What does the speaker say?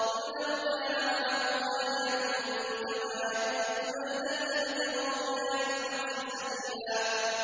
قُل لَّوْ كَانَ مَعَهُ آلِهَةٌ كَمَا يَقُولُونَ إِذًا لَّابْتَغَوْا إِلَىٰ ذِي الْعَرْشِ سَبِيلًا